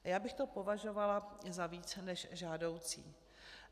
Já bych to považovala za více než žádoucí.